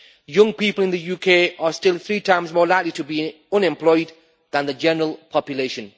Young people in the UK are still three times more likely to be unemployed than the general population.